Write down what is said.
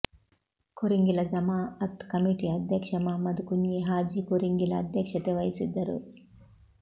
ಕೊರಿಂಗಿಲ ಜಮಾಅತ್ ಕಮಿಟಿಯ ಅಧ್ಯಕ್ಷ ಮುಹಮ್ಮದ್ ಕುಂಞಿ ಹಾಜಿ ಕೊರಿಂಗಿಲ ಅಧ್ಯಕ್ಷತೆ ವಹಿಸಿದ್ದರು